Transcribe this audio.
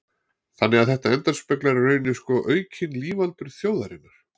Þannig að þetta endurspeglar í rauninni sko aukin lífaldur þjóðarinnar.